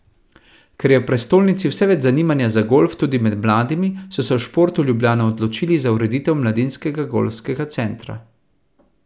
Ker je v prestolnici vse več zanimanja za golf tudi med mladimi, so se v Športu Ljubljana odločili za ureditev mladinskega golfskega centra.